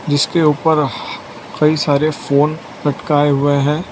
जिसके ऊपर हह कई सारे फोन लटकाए हुए हैं।